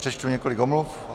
Přečtu několik omluv.